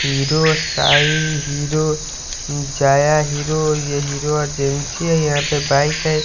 Hero Sai Hero जाया Hero यह Hero agency है यहां पे बाइक है।